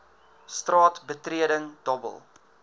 straat betreding dobbel